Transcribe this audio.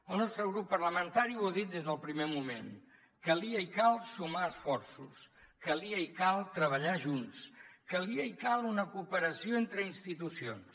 el nostre grup parlamentari ho ha dit des del primer moment calia i cal sumar esforços calia i cal treballar junts calia i cal una cooperació entre institucions